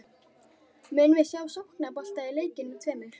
Munum við sjá sóknarbolta í leikjunum tveimur?